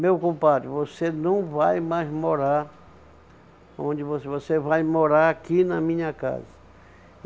Meu compadre, você não vai mais morar onde você... Você vai morar aqui na minha casa.